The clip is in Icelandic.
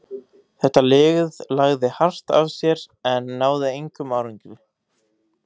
Þetta lið lagði hart að sér en náði engum árangri.